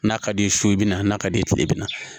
N'a ka d'i ye so i bɛ na n'a ka d'i ye kile bɛ na